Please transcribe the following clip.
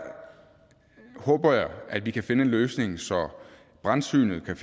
håber jeg at vi kan finde en løsning så brandsynet kan